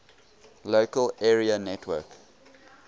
local area network